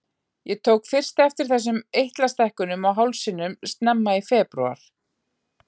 Ég tók fyrst eftir þessum eitlastækkunum á hálsinum snemma í febrúar.